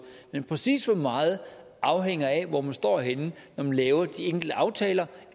men præcis hvor meget afhænger af hvor man står henne når man laver de enkelte aftaler